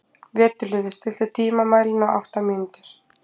Veturliði, stilltu tímamælinn á átta mínútur.